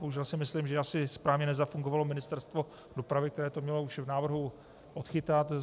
Bohužel si myslím, že asi správně nezafungovalo Ministerstvo dopravy, které to mělo už v návrhu odchytit.